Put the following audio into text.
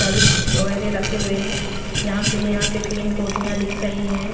Shirt वगैरह रखे हुए हैं यहां से यहां पे तीन कोटियां दिख रही हैं।